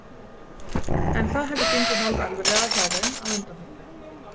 En það hefur gengið hálf erfiðlega hjá þeim að undanförnu.